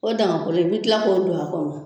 O dagakolon i bɛ kila ko don a kɔnɔ.